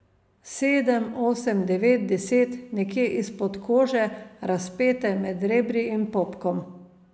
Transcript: Sedem, osem, devet, deset, nekje izpod kože, razpete med rebri in popkom.